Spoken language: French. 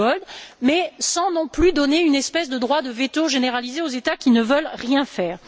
Giegold, mais sans donner non plus une espèce de droit de veto généralisé aux États qui ne veulent rien faire.